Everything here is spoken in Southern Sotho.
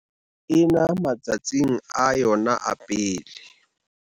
ena ma tsatsing a yona a pele.